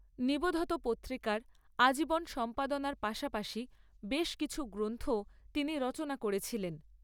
নিবোধত পত্রিকার আজীবন সম্পাদনার পাশাপাশি বেশ কিছু গ্রন্থও তিনি রচনা করেছিলেন।